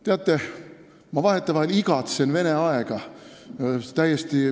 Teate, ma vahetevahel igatsen tagasi Vene aega.